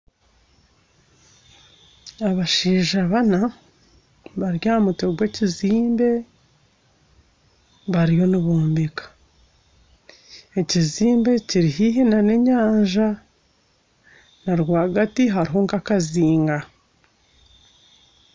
Abashaija bana bari ahamutwe gwekizimbe bariyo nibombeka ekizimbe kiri haihi nana enyanja narwagati hariho nkakazinga